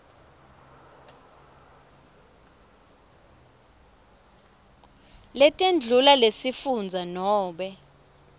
letetindlu lesifundza nobe